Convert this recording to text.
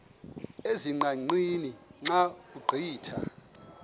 ezingqaqeni xa ugqitha